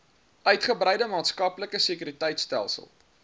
uitgebreide maatskaplike sekuriteitstelsel